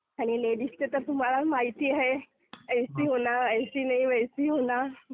आणि लेडीजचं तर तुम्हाला माहिती आहे, ऐसी होना, ऐसी नही वैसी होना,